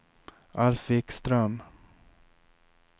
Alf Wikström